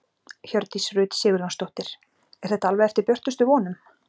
Hjördís Rut Sigurjónsdóttir: Er þetta alveg eftir björtustu vonum?